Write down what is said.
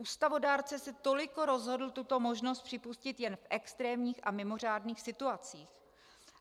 Ústavodárce se toliko rozhodl tuto možnost připustit jen v extrémních a mimořádných situacích.